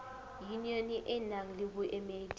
yunione e nang le boemedi